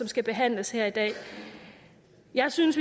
skal behandles her i dag jeg synes